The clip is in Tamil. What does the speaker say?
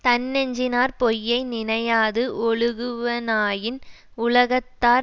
தன்னெஞ்சினாற் பொய்யை நினையாது ஒழுகுவனாயின் உலகத்தார்